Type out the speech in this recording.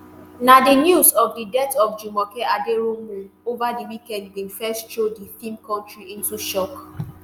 na di news of di death of jumoke aderounmu ova di weekend bin first throw di feem industry into shock.